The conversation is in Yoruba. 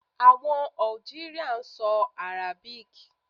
Àwọn Algeria ń so Arabic